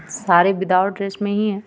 सारे without dress में ही है.